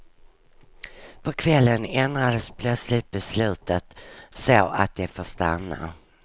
På kvällen ändrades plötsligt beslutet så att de får stanna.